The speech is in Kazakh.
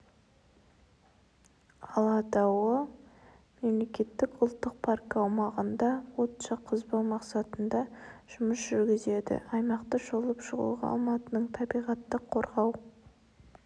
алатауы мемлекеттік ұлттық паркі аумағында от жаққызбаумақсатында жұмыс жүргізеді аймақты шолып шығуға алматының табиғатты қорғау